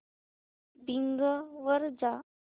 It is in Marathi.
बिंग वर जा